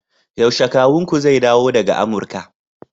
yaushe kawunku zai dawo daga Amurka